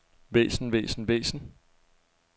væsen væsen væsen